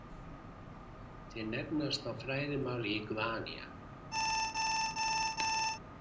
Þeir nefnast á fræðimáli Iguania.